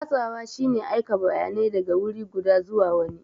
Watsawa shine aika bayanai daga wuri guda zuwa wani.